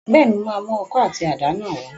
Bẹ́ẹ̀ni, mo máa mú ọkọ̀ àti àdá náà wá